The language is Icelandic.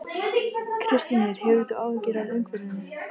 Kristín Ýr: Hefur þú áhyggjur af umhverfinu?